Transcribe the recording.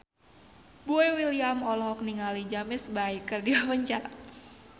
Boy William olohok ningali James Bay keur diwawancara